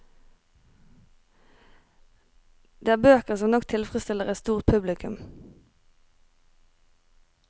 Det er bøker som nok tilfredstiller et stort publikum.